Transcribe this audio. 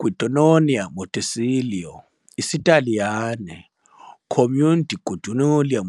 Guidonia Montecelio IsiTaliyane - Comune di Guidonia